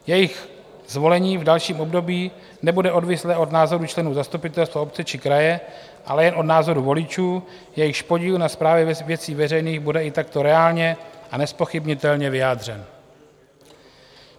Jejich zvolení v dalším období nebude odvislé od názoru členů zastupitelstva obce či kraje, ale jen od názoru voličů, jejichž podíl na správě věcí veřejných bude i takto reálně a nezpochybnitelně vyjádřen.